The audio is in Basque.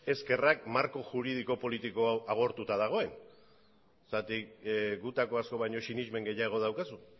eskerrak marko juridiko politiko hau agortuta dagoen zeren gutako asko baino sinesmen gehiago daukazu